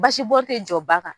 Basibɔn tɛ jɔ ba kan